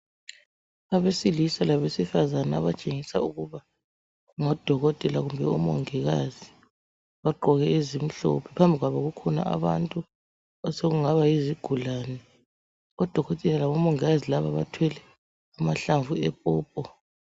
Abesilisa labesifazana abatshengisa ukuba ngodokoteka kumbe omongikazi. Bagqoke ezimhlophe. Phambi kwabo kukhona abantu osokungaba yizigulani odokotela labomongikazi laba bathwele amahlamvu epopo.